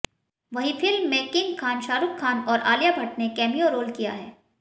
वहीं फिल्म में किंग खान शाहरुख खान और आलिया भट्ट ने कैमियों रोल किया है